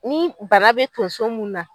Ni bana be tonso mun na